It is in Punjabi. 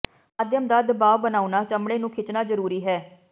ਮਾਧਿਅਮ ਦਾ ਦਬਾਅ ਬਣਾਉਣਾ ਚਮੜੀ ਨੂੰ ਖਿੱਚਣਾ ਜ਼ਰੂਰੀ ਹੈ